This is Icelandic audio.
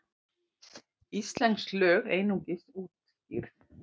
Íslensk lög einungis útskýrð